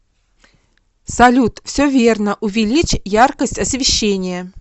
салют все верно увеличь яркость освещения